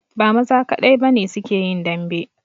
Ba maza kadai ba ne su ke yin dambe